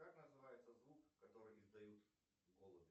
как называется звук который издают голуби